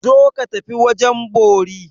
Zo ka tafi wajen bori!